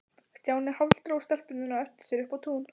Stjáni hálfdró stelpurnar á eftir sér upp á tún.